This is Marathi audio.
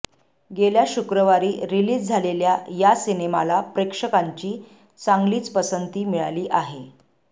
गेल्या शुक्रवारी रिलीज झालेल्या या सिनेमाला प्रेक्षकांची चांगलीच पसंती मिळाली आहे